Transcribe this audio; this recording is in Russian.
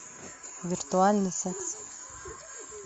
виртуальный секс